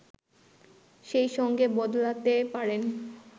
সেই সঙ্গে বদলাতে পারেন